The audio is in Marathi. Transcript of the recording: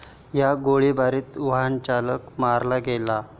या गोळीबारात वाहनचालक मारला गेला.